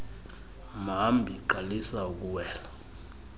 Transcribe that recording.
mhambi qalisa ukuwela